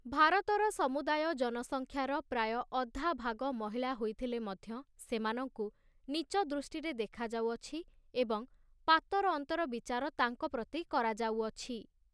ଭାରତର ସମୁଦାୟ ଜନସଂଖ୍ୟାର ପ୍ରାୟ ଅଧାଭାଗ ମହିଳା ହୋଇଥିଲେ ମଧ୍ୟ ସେମାନଙ୍କୁ ନୀଚ ଦୃଷ୍ଟିରେ ଦେଖାଯାଉଅଛି ଏବଂ ପାତରଅନ୍ତର ବିଚାର ତାଙ୍କ ପ୍ରତି କରାଯାଉଅଛି ।